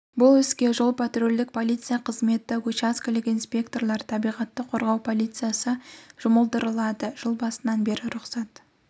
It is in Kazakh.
бұл іске жол патрульдік полиция қызметі участкелік инспекторлар табиғатты қорғау полициясы жұмылдырылады жыл басынан бері рұқсат